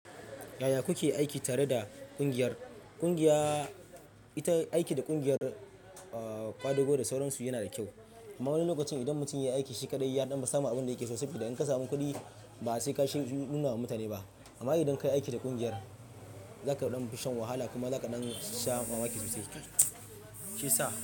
Yaya kuke aiki tare da ƙungiyar? Ƙungiya ita aiki da ƙungiyar ƙwadago da sauransu yana da kyau. Amma wani lokacin idan mutum ya yi aiki shi kaɗai, yaɗan fi samu abin da yake so saboda in ka samu kuɗi ba sai ka sha nuna wa mutane ba. Amma idan ka yi aiki da ƙungiyar, za ka fi shan wahala kuma za ka sha mamaki sosai. Shi ya sa.